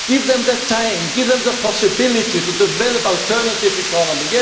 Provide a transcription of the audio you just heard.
Give them the time and the possibility to develop an alternative economy.